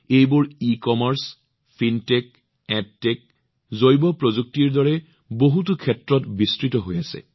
তেওঁলোকে ecommerce fintech edtech জৈৱপ্ৰযুক্তিৰ দৰে বহুতো ক্ষেত্ৰত কাম কৰি আছে